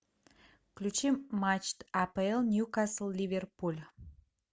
включи матч апл ньюкасл ливерпуль